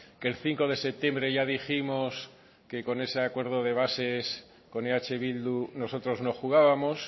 que el cinco de septiembre ya dijimos que con ese acuerdo de bases con eh bildu nosotros no jugábamos